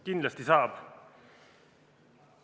Kindlasti saab!